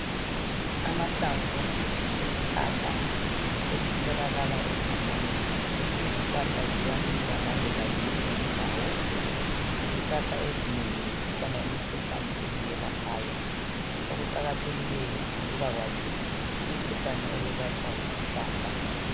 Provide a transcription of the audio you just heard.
Amahlamvu esihlahla esitholakala egangeni. Izihlahla ziyamila laloba yiphi indawo. Izihlahla ezingeni kukhona imikhuhlane eziyelaphayo. Okuqakathekileyo yikubakwazi umkhuhlane owelatshwa yisihlahla.